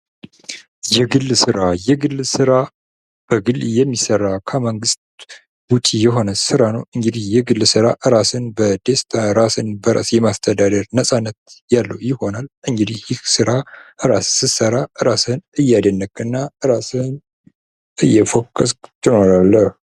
የግል ስራ ። የግል ስራ በግል የሚሰራ ከመንግስት ውጭ የሆነ ስራ ነው ። እንግዲህ የግል ስራ ራስን በደስታ ራስን በራስ የማስተዳደር ነፃነት ያለው ይሆናል እንግዲህ ይህ ስራ ራስህ ስትሰራ ራስን እያደነቅህ እና ራስህን እየፎከስህ ትኖራለህ ።